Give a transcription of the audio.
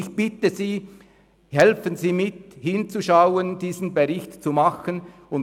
Ich bitte Sie mitzuhelfen, damit dieser Bericht gemacht wird.